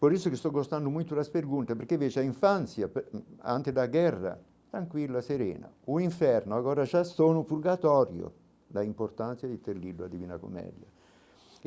Por isso que estou gostando muito das pergunta, porque veja a infância, antes da guerra, tranquilo, a serena, o inferno, agora já são da importância de ter lido a divina comédia.